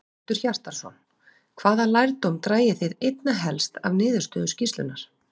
Hjörtur Hjartarson: Hvaða lærdóm dragi þið einna helst af niðurstöðu skýrslunnar?